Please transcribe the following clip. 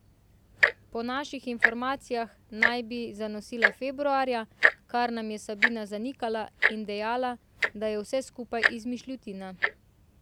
Po naših informacijah naj bi zanosila februarja, kar nam je Sabina zanikala in dejala, da je vse skupaj izmišljotina.